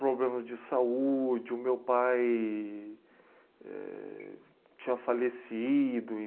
Problemas de saúde, o meu pai... tinha falecido e